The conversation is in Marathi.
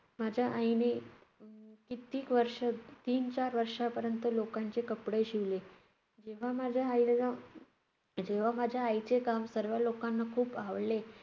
माझ्या आईने अह कित्येक वर्ष~ तीन-चार वर्षापर्यंत लोकांचे कपडे शिवले. जेव्हा माझ्या आईला~ जेव्हा माझ्या आईचे काम सर्व लोकांना खूप आवडले,